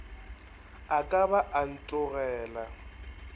a ka ba a ntogela